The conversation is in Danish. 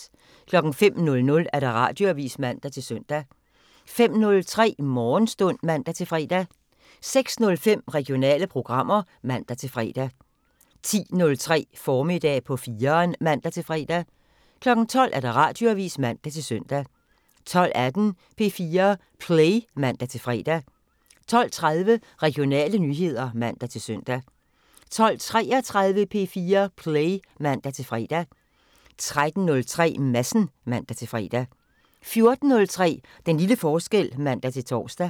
05:00: Radioavisen (man-søn) 05:03: Morgenstund (man-fre) 06:05: Regionale programmer (man-fre) 10:03: Formiddag på 4'eren (man-fre) 12:00: Radioavisen (man-søn) 12:18: P4 Play (man-fre) 12:30: Regionale nyheder (man-søn) 12:33: P4 Play (man-fre) 13:03: Madsen (man-fre) 14:03: Den lille forskel (man-tor)